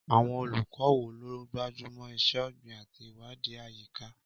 Àwọn olùkọ́ wo ló gbájú mọ́ iṣẹ́ ọ̀gbìn àti ìwádìí àyíká?